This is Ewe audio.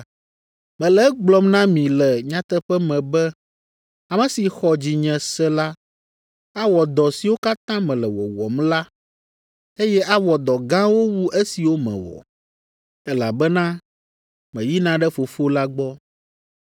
Mele egblɔm na mi le nyateƒe me be ame si xɔ dzinye se la awɔ dɔ siwo katã mele wɔwɔm la, eye awɔ dɔ gãwo wu esiwo mewɔ, elabena meyina ɖe Fofo la gbɔ.